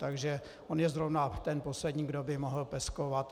Takže on je zrovna ten poslední, kdo by mohl peskovat.